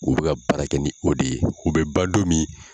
U bɛ ka baara kɛ ni o de ye, u bɛ ban don min